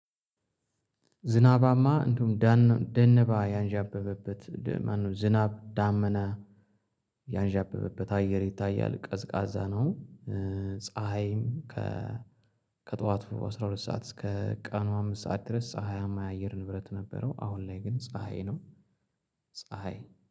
ዝናባማ እንዲሁም ደነባ ያንዣበበበት ዝናብ ዳመና ያንዣበበበት አየር ይታያል ቀዝቃዛ ነው። ፀሀይም አስራ ሁለት ሰዓት እስከ ቀኑ አምስት ሰዓት ድረስ ፀሀያማ የአየር ንብረት ነበረው። አሁን ላይ ግን ፀሀይ ነው። ፀሀይ